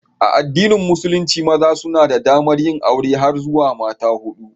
A addinin musulunci, maza suna da damar yin aure har zuwa mata hudu.